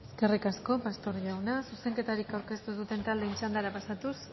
eskerrik asko pastor jauna zuzenketarik aurkeztu duten taldeen txandara pasatuz